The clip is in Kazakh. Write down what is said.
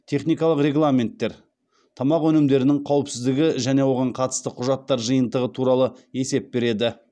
техникалық регламенттер тамақ өнімдерінің қауіпсіздігі және оған қатысты құжаттар жиынтығы туралы есеп береді